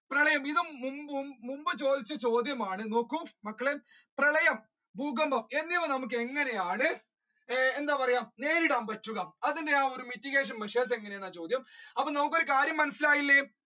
പ്രളയം ഇത് മുൻപും മുൻപും ചോദിച്ച ചോദ്യമാണ് നോക്ക് മക്കളെ പ്രളയം ഭൂകമ്പം എന്നിവ നമ്മുക്ക് എങ്ങനെയാണ് എന്താ പറയുക നേരിടാൻ പറ്റുക അതിന്റെ mitigation measures എങ്ങനെയാണെന്ന ചോദ്യം അപ്പൊ നമ്മുക്ക് ഒരു കാര്യം മനസിലായില്ലേ